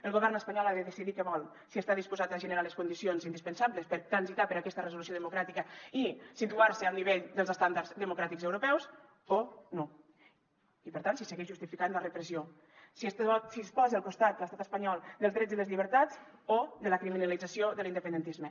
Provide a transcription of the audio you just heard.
el govern espanyol ha de decidir què vol si està disposat a generar les condicions indispensables per transitar per aquesta resolució democràtica i situar se al nivell dels estàndards democràtics europeus o no i per tant segueix justificant la repressió si es posa al costat l’estat espanyol dels drets i les llibertats o de la criminalització de l’independentisme